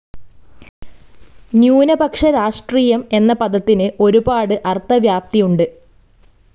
ന്യൂനപക്ഷ രാഷ്ട്രീയം എന്ന പദത്തിനു ഒരുപാട്‌ അർത്ഥവ്യാപ്തിയുണ്ട്.